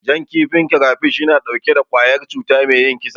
Jan kifin kirefish yana ɗauke da ƙwayar cuta me yin kisa.